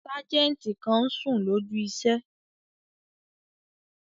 Sájẹ̀ntì kan n sùn lójú iṣẹ́